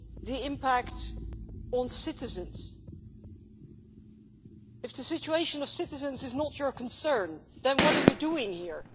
the impact on citizens. If the situation of citizens is not your concern, then what are you doing here?